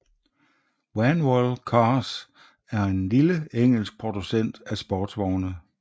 Vanwall Cars er en lille engelsk producent af sportsvogne